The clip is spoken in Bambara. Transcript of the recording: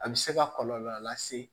A bɛ se ka kɔlɔlɔ lase